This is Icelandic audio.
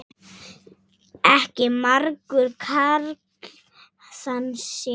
Ekki margur karl þann sér.